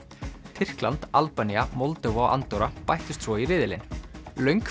Tyrkland Albanía Moldóva og Andorra bættust svo í riðilinn löng